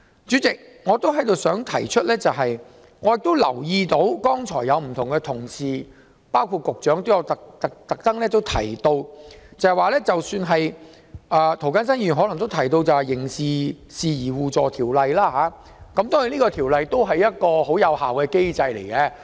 主席，我也想指出，我留意到剛才有同事和局長也特別提到《刑事事宜相互法律協助條例》，涂謹申議員或許也有提及。當然，《條例》也是一個很有效的機制。